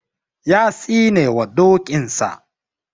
Ya tsinewa dokinsa.